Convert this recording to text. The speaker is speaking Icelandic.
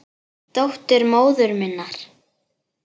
Dóttir móður minnar?